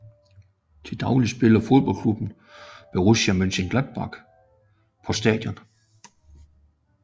Til daglig spiller fodboldklubben Borussia Mönchengladbach på stadion